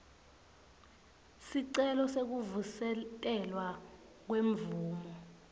sicelo sekuvusetelwa kwemvumo